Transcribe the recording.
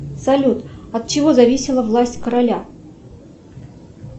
салют от чего зависела власть короля